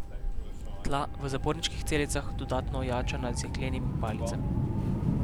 Tla v zaporniških celicah dodatno ojačana z jeklenimi palicami.